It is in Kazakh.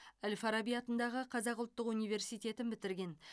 әл фараби атындағы қазақ ұлттық университетін бітірген